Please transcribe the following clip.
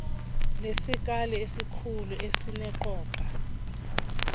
lesikali esikhulu esineqoga